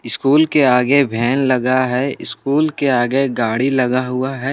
School के आगे van लगा है स्कूल के आगे गाड़ी लगा हुआ है।